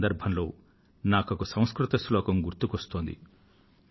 ఈ సందర్భంలో ఒక సంస్కృత శ్లోకం నాకు గుర్తుకువస్తోంది